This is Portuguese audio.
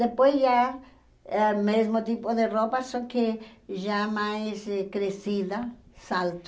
Depois já é o mesmo tipo de roupa, só que já mais crescida, salto.